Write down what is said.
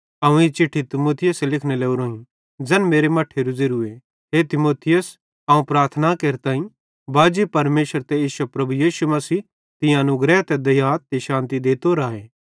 अवं ई चिट्ठी तीमुथियुसे लिखने लोरोईं ज़ैन मेरे मट्ठेरू ज़ेरूए हे तीमुथियुस अवं प्रार्थना केरताईं बाजी परमेशर ते इश्शे प्रभु यीशु मसीह तीं अनुग्रह ते दया ते शान्ति देतो राए